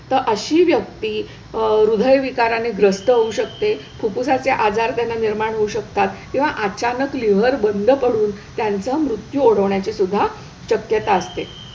तर अशी व्यक्ती हृदयविकाराने ग्रस्त होऊ शकते, फुफ्फुसाचे आजार त्यांना निर्माण होऊ शकतात किंवा अचानक लिव्हर बंद पडून त्यांचा मृत्यू ओढवण्याची सुद्धा शक्यता असते.